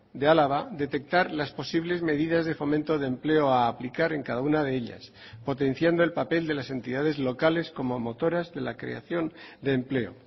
de álava detectar las posibles medidas de fomento de empleo a aplicar en cada una de ellas potenciando el papel de las entidades locales como motoras de la creación de empleo